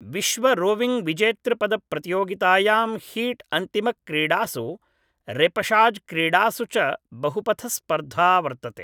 विश्वरोविङ् विजेतृपदप्रतियोगितायां हीट् अन्तिमक्रीडासु रेपशाज् क्रीडासु च बहुपथस्पर्धा वर्तते